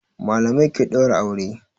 Malamai ke daura aure.